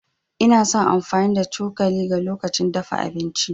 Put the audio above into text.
Ina son amfani da cokalin ga lokacin dafa abinci.